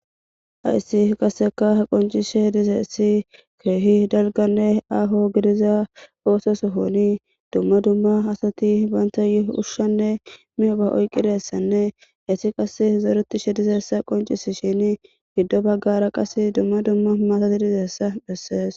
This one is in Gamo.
Hays qasseka qocisishe dizays keehi dalganne aho gidiza ooso shooni dumma dumma asati bantayo uhushshanne miyoba oyqidyssanne isti qas zoretishe dizeessa qoncisishini giddo baggara qas dumma dumma matati dizaysa beses.